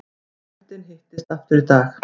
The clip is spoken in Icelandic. Nefndin hittist aftur í dag